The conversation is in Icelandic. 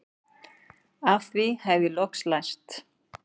Af því hef ég loks lært